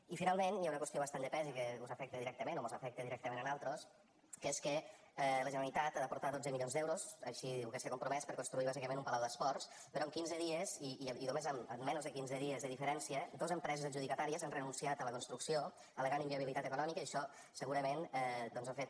i finalment hi ha una qüestió bastant de pes i que us afecta directament o mos afecta directament a nosaltres que és que la generalitat ha d’aportar dotze milions d’euros així diu que s’hi ha compromès per construir bàsicament un palau d’esports però en quinze dies i en menys de quinze dies de diferència dos empreses adjudicatàries han renunciat a la construcció al·legant inviabilitat econòmica i això segurament doncs ha fet